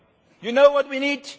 You know what we need?